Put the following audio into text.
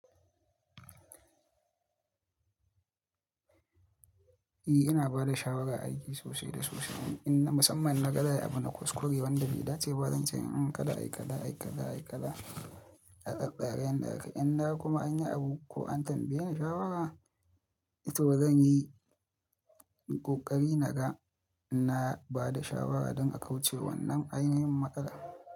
I, ina ba da shawara aiki sosai da sosai. Inna musamman na ga za'ai abu na kuskure wanda bai dace ba, zan ce, "Kada, ai kaza, ai kaza, ai kaza a tsatstsara yan da aka." In naga kuma an yi abu ko an tambaye ni shawara, to zan yi ƙoƙari na ga in na ba da shawara don a kauce wa wannan ainihin matsala.